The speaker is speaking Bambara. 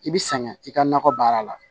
I bi sɛgɛn i ka nakɔ baara la